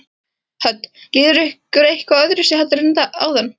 Hödd: Líður ykkur eitthvað öðruvísi heldur en áðan?